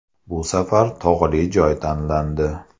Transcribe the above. Bu safar tog‘li joy tanlandi.